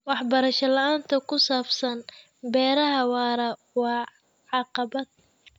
Waxbarasho la'aanta ku saabsan beeraha waara waa caqabad.